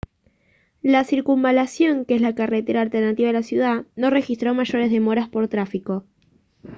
la circunvalación que es la carretera alternativa de la ciudad no registró mayores demoras por tráfico